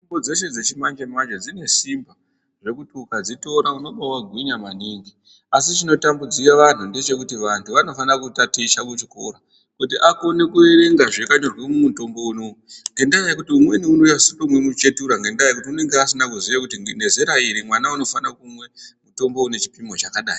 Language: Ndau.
Mitombo dzeshe dzechimanjemanje dzine simba zvekuti ukadzitora unobawagwinya maningi asi chinotambudzike anhu ngechekuti vanhu vanofanire kutaticha kuchikora kuti akone kuerenga zvakanyorwa mumutombo unou ngendaa yekuti umweni unonase kutomwe muchetura ngendayekuti unonga asina kuziya kuti ngezera iri mwana unofane kumwe mutombo unechipimo chakadai.